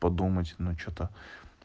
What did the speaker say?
подумать ну что-то